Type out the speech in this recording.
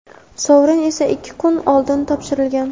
sovrin esa ikki kun oldin topshirilgan.